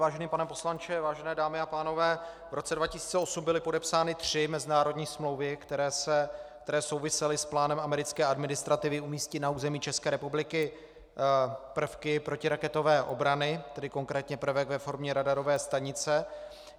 Vážený pane poslanče, vážené dámy a pánové, v roce 2008 byly podepsány tři mezinárodní smlouvy, které souvisely s plánem americké administrativy umístit na území České republiky prvky protiraketové obrany, tedy konkrétně prvek ve formě radarové stanice.